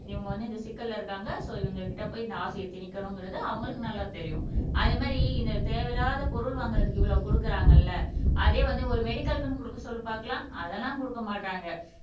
இவங்க வந்து இந்த சிக்கல்ல இருக்காங்க சோ இவங்க கிட்ட போய் இந்த ஆசையை திணிக்கணும்ங்கிறது அவங்களுக்கு நல்லா தெரியும் அதே மாதிரி இந்த தேவையில்லாத பொருள் வாங்குறதுக்கு இவ்வளவு குடுக்குறாங்கல்ல அதே வந்து ஒரு மெடிக்கல்க்குன்னு குடுக்க சொல்லு பார்க்கலாம் அதெல்லாம் குடுக்க மாட்டாங்க